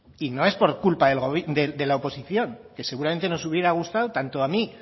y no es por culpa de la oposición que seguramente nos hubiera gustado tanto a mí